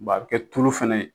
Bɔn a bi kɛ tulo fana ye